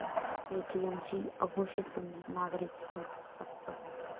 एटीएमची अघोषित बंदी, नागरिक संतप्त